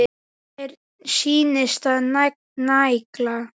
Já, mér sýnist það nægja!